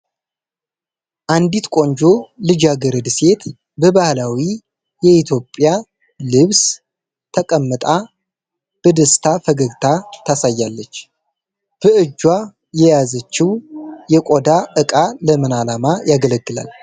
አንዲት ቆንጆ ልጃ ገርድ ሴት በባህላዊ የኢትዮጵያ ልብስ ተቀምጣ በደስታ ፈገግታ ታሳያለች። በእጇ የያዘችው የቆዳ እቃ ለምን ዓላማ ያገለግላል ?